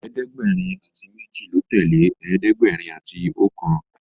ẹ̀ẹ́dẹ̀gbẹ̀rin ati méjì ló tẹlẹ ẹ̀ẹ́dẹ̀gbẹ̀rin àti okan.